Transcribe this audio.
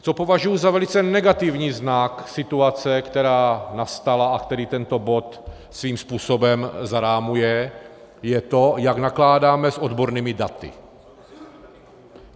Co považuji za velice negativní znak situace, která nastala a který tento bod svým způsobem zarámuje, je to, jak nakládáme s odbornými daty.